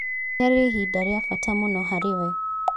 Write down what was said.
Rĩarĩ ihinda rĩa bata mũno harĩ we.